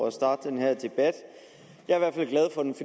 at starte den her debat jeg er